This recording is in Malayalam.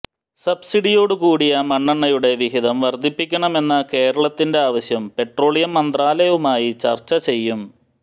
സബ്സിഡിയോടു കൂടിയ മണ്ണെണ്ണയുടെ വിഹിതം വര്ദ്ധിപ്പിക്കണമെന്ന കേരളത്തിന്റെ ആവശ്യം പെട്രോളിയം മന്ത്രാലയവുമായി ചര്ച്ച ചെയ്യും